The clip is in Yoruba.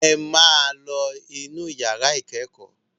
Ẹ máa lọ inú ìyàrá ìkẹ́kọ̀ọ́!